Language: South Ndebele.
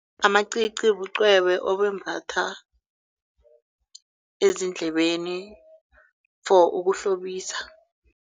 Amacici bucwebe obembathwa ezindlebeni for ukuhlobisa.